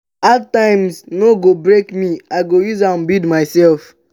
hard times no go break me i go use am build mysef.